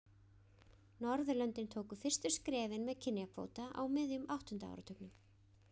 norðurlöndin tóku fyrstu skrefin með kynjakvóta á miðjum áttunda áratugnum